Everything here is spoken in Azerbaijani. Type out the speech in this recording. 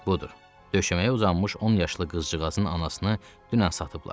Budur, döşəməyə uzanmış 10 yaşlı qızcığazın anasını dünən satıblar.